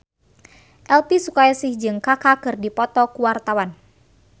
Elvi Sukaesih jeung Kaka keur dipoto ku wartawan